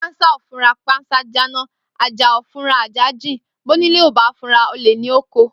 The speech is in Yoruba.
Pansa o fura pansa ja na, aja o fun ase jin ti onile o ba fura ole ni o ko.